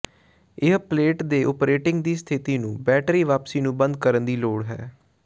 ਇਹ ਪਲੇਟ ਦੇ ਓਪਰੇਟਿੰਗ ਦੀ ਸਥਿਤੀ ਨੂੰ ਬੈਟਰੀ ਵਾਪਸੀ ਨੂੰ ਬੰਦ ਕਰਨ ਦੀ ਲੋੜ ਹੈ